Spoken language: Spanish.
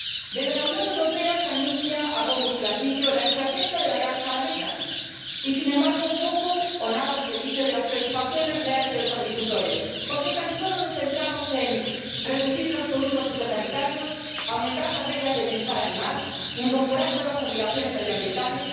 Desde la Unión Europea se anuncia a bombo y platillo la estrategia de la granja a la mesa y, sin embargo, poco o nada se dice de las preocupaciones reales de los agricultores porque tan solo nos centramos en reducir los productos fitosanitarios, aumentar las reglas de bienestar animal, incorporar nuevas obligaciones medioambientales.